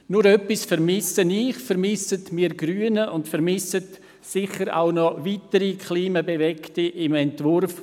Nur etwas vermisse ich, vermissen wir Grünen und sicherlich noch weitere Klimabewegte im Entwurf